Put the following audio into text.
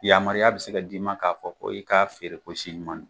Yamaruya bɛ se ka d'i ma k'a fɔ ko i k'a feere ko si ɲuman don.